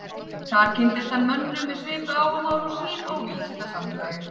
Þar kynntist hann mönnum með svipuð áhugamál og sýn á vísindasamfélagið.